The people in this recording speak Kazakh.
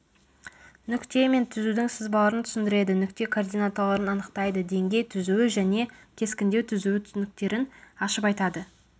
нүкте мен түзудің сызбаларын түсіндіреді нүкте координаталарын анықтайды деңгей түзуі және кескіндеу түзуі түсініктерін ашып айтады